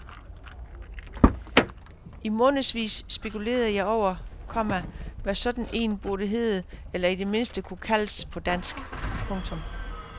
I månedsvis spekulerede jeg over, komma hvad sådan en burde hedde eller i det mindste kunne kaldes på dansk. punktum